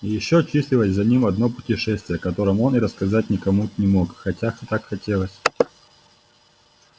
и ещё числилось за ним одно путешествие о котором он и рассказать-то никому не мог хотя так хотелось